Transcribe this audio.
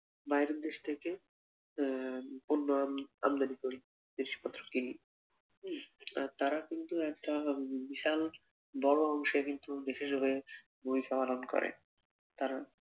বাইরে দেশ থেকে আহ পণ্য আম আমদানি করি জিনিসপত্র কিনি উম তারা কিন্তু একটা বিশাল বড় অংশের কিন্তু দেশের হয়ে ভূমিকা পালন করে তারা।